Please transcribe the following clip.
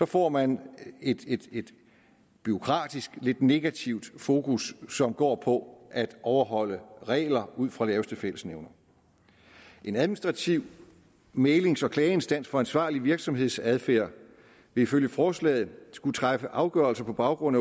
får man et et bureaukratisk lidt negativt fokus som går på at overholde regler ud fra laveste fællesnævner en administrativ mæglings og klageinstans for ansvarlig virksomhedsadfærd vil ifølge forslaget skulle træffe afgørelser på baggrund